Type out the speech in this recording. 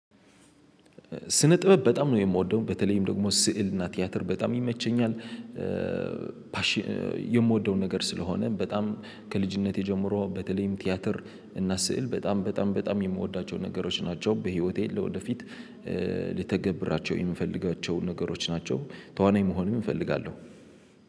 ስነ ጥበብ በጣም ነው የምወደው በተለይም ደግሞ ስዕል እና ቲያትር በጣም ይመቸኛል። ነገር ስለሆነ በጣም ከልጅነቴ ጀምሮ በተለይም ቲያትር እና ስዕል በጣም በጣም በጣም የምወዳቸው ነገሮች ናቸው በህይወቴ ለወደፊት ልተገብራቸው የምፈልጋቸው ነገሮች ናቸው። ተዋናይ መሆን እፈልጋለሁ።